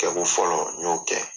Kɛko fɔlɔ n y'o kɛ.